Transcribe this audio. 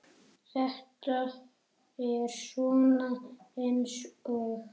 Þetta er svona eins og.